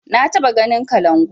Na taɓa ganin kalangu